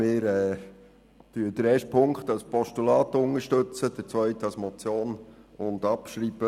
Ziffer 1 unterstützen wir als Postulat, Ziffer 2 als Motion und mit Abschreibung.